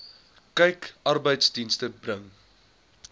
kyk arbeidsdienste bring